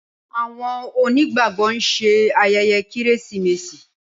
Awon oni gbàgbó nṣe ayẹyẹ Kérésìmesì